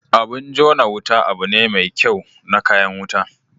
Abin jona Wuta abu ne me kyau na kayan wuta.